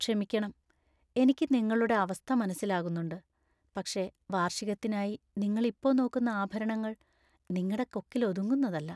ക്ഷമിക്കണം, എനിക്ക് നിങ്ങളുടെ അവസ്ഥ മനസ്സിലാകുന്നുണ്ട്. പക്ഷേ വാർഷികത്തിനായി നിങ്ങളിപ്പോ നോക്കുന്ന ആഭരണങ്ങൾ നിങ്ങടെ കൊക്കിലൊതുങ്ങുന്നതല്ല.